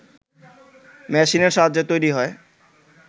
মেশিনের সাহায্যে তৈরি হয়